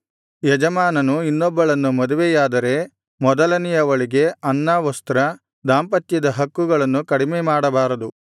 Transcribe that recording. ಯಜಮಾನನು ಇನ್ನೊಬ್ಬಳನ್ನು ಮದುವೆಯಾದರೆ ಮೊದಲನೆಯವಳಿಗೆ ಅನ್ನ ವಸ್ತ್ರ ದಾಂಪತ್ಯದ ಹಕ್ಕುಗಳನ್ನು ಕಡಿಮೆಮಾಡಬಾರದು